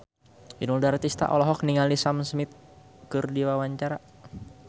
Inul Daratista olohok ningali Sam Smith keur diwawancara